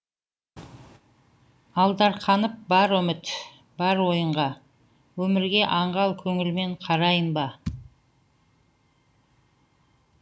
алдарқанып бар үміт бар ойынға өмірге аңғал көңілмен қарайын ба